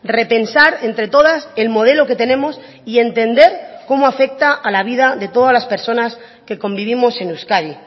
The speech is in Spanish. repensar entre todas el modelo que tenemos y entender cómo afecta a la vida de todas las personas que convivimos en euskadi